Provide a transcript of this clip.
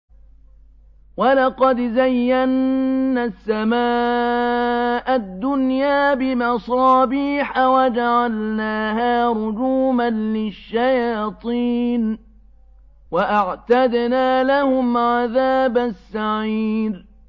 وَلَقَدْ زَيَّنَّا السَّمَاءَ الدُّنْيَا بِمَصَابِيحَ وَجَعَلْنَاهَا رُجُومًا لِّلشَّيَاطِينِ ۖ وَأَعْتَدْنَا لَهُمْ عَذَابَ السَّعِيرِ